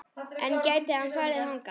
En gæti hann farið þangað?